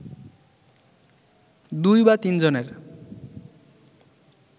দুই বা তিনজনের